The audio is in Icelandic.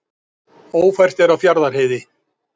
Ófært er á Fjarðarheiði